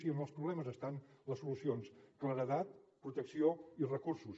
i en els problemes estan les solucions claredat protecció i recursos